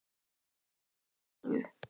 Það var sýn.